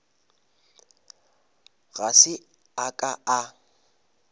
ga se a ka a